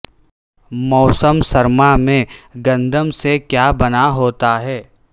موسم سرما میں گندم سے کیا بنا ہوتا ہے